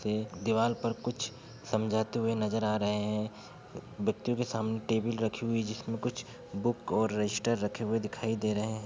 एक दीवार पर कुछ समझाते हुए नजर आ रहे हैं बच्चों के सामने टेबिल रखी हुई जिसमें कुछ बुक और रजिस्टर रखे हुए दिखाई दे रहे हैं ।